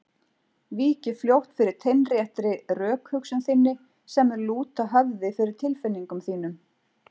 Víki fljótt fyrir teinréttri rökhugsun þinni sem mun lúta höfði fyrir tilfinningum þínum.